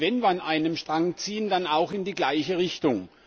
Und wenn wir an einem Strang ziehen, dann auch in die gleiche Richtung.